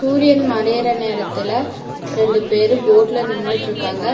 சூரியன் மறையிற நேரத்துல ரெண்டு பேரு ஃபோட்ல நின்னுட்ருக்காங்க.